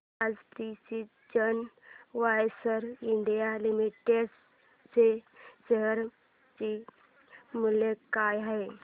आज precision wires India limited च्या share चे मूल्य काय आहे